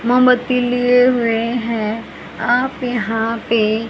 मोमबत्ती लिए हुए हैं आप यहां पे--